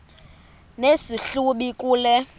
nesi hlubi kule